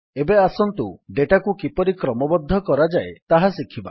ଏବେ ଆସନ୍ତୁ ଡେଟାକୁ କିପରି କ୍ରମବଦ୍ଧ କରାଯାଏ ତାହା ଶିଖିବା